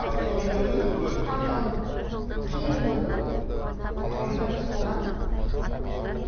ал сол видеоны өзің көрдің таңғалдым кейін көрдім мхм ол запись болған